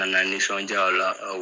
Ka na nisɔndiya o la.